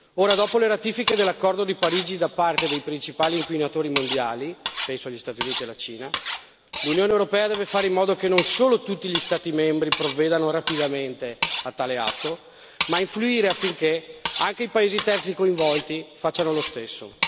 Ora, dopo le ratifiche dell'accordo di Parigi da parte dei principali inquinatori mondiali penso agli Stati Uniti e alla Cina l'Unione europea deve fare in modo che non solo tutti gli Stati membri provvedano rapidamente a tale atto ma influire affinché anche i paesi terzi coinvolti facciano lo stesso.